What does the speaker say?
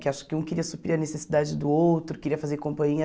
Que acho que um queria suprir a necessidade do outro, queria fazer companhia,